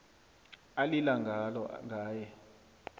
alila ngalo ngaye